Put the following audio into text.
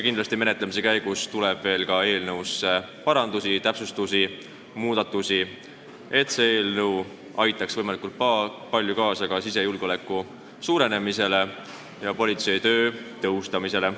Kindlasti tuleb menetlemise käigus veel parandusi, täpsustusi, muudatusi, et see eelnõu aitaks võimalikult palju kaasa sisejulgeoleku suurenemisele ja politsei töö tõhustamisele.